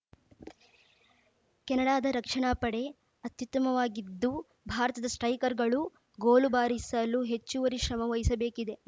ಕೆನಡಾದ ರಕ್ಷಣಾ ಪಡೆ ಅತ್ಯುತ್ತಮವಾಗಿದ್ದು ಭಾರತದ ಸ್ಟ್ರೈಕರ್‌ಗಳು ಗೋಲು ಬಾರಿಸಲು ಹೆಚ್ಚುವರಿ ಶ್ರಮ ವಹಿಸಬೇಕಿದೆ